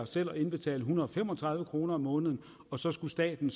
selv at indbetale en hundrede og fem og tredive kroner om måneden og så skulle staten